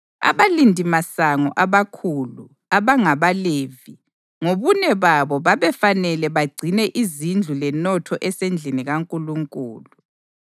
Abalindimasango abakhulu, abangabaLevi, ngobune babo babefanele bagcine izindlu lenotho esendlini kaNkulunkulu.